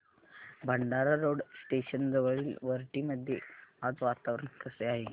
Bhandara road station जवळील वरठी मध्ये आज वातावरण कसे आहे